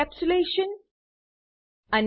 અને એનકેપ્સ્યુલેશન દાતા એબ્સ્ટ્રેક્શન